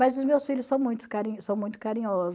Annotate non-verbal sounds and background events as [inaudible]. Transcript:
Mas os meus filhos são muito [unintelligible] são muito carinhosos